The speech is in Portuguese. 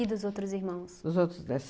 E dos outros irmãos? Os outros dés